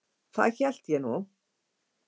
Það hélt ég nú.